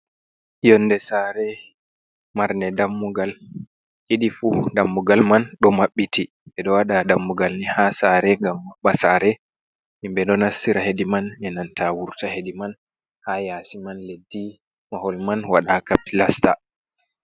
Yonnde saare marnne dammugal ɗiɗi fuu, dammugal man ɗo maɓɓiti, ɓe ɗo waɗa dammugal nii haa saare ngam maɓɓa saare himɓe ɗo nasira hedi man enanta wurta hedi man haa yaasi man, leddi mahol man wala kapilasta.